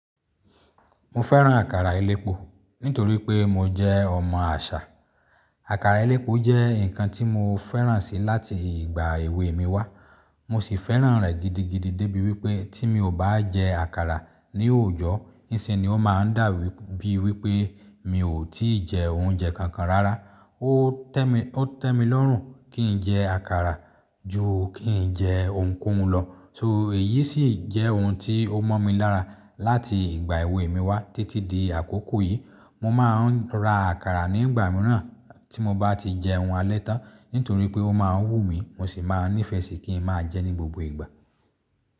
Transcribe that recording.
Mo fẹ́ràn àkàrà elépo nítorí pé mo jẹ́ ọmọ àṣà. Àkàrà elépo jẹ́ nǹkan tí mo fẹ́ràn si láti ìgbà èwe mi wá. Mo sì fẹ́ràn rẹ̀ gidigidi débi wípé tí mi ò bá jẹ àkàrà ní òòjọ́, ise ni ó máa ń dà bíi wípé mi ò tí jẹ oúnjẹ kankan rárá. Ó tẹ́ mi lọ́rùn kí n jẹ àkàrà ju kí n jẹ ohunkóhun lọ. So èyí sì jẹ́ ohun tí ó mọ́ mi lára láti ìgbà èwe mi wá títí di àkókò yìí. Mo máa ń rà àkàrà nígbà mìíràn tí mo bá ti jẹun alẹ́ tán nítorí pé ó máa ń wù mí, mo sì máa nífẹẹ sí kí n máa jẹ́ ní gbogbo ìgbà.